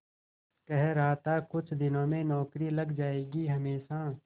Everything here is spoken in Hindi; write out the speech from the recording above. कह रहा था कुछ दिनों में नौकरी लग जाएगी हमेशा